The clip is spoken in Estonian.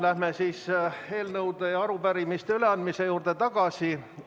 Läheme eelnõude ja arupärimiste üleandmise juurde tagasi.